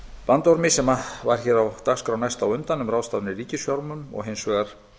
bandormi sem var hér á dagskrá næst á undan um ráðstafanir í ríkisfjármálum og hins vegar